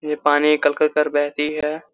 ये पानी कल-कल कर बहती है।